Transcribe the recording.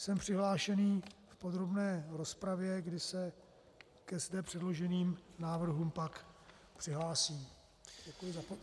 Jsem přihlášený k podrobné rozpravě, kdy se ke zde předloženým návrhům pak přihlásím.